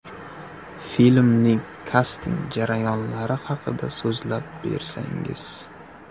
Filmning kasting jarayonlari haqida so‘zlab bersangiz.